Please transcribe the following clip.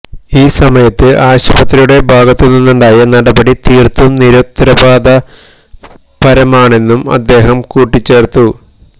ഈ സമയത്ത് ആശുപത്രിയുടെ ഭാഗത്തുനിന്നുണ്ടായ നടപടി തീര്ത്തും നിരുത്തരവാദപരമാണെന്നും അദ്ദേഹം കൂട്ടിച്ചേര്ത്തു